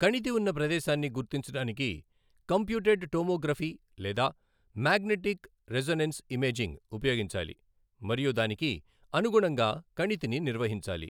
కణితి ఉన్న ప్రదేశాన్ని గుర్తించడానికి కంప్యూటెడ్ టోమోగ్రఫీ లేదా మాగ్నెటిక్ రెసొనెన్స్ ఇమేజింగ్ ఉపయోగించాలి మరియు దానికి అనుగుణంగా కణితిని నిర్వహించాలి.